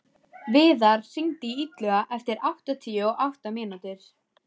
Viðar, hringdu í Illuga eftir áttatíu og átta mínútur.